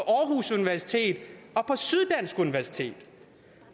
aarhus universitet og på syddansk universitet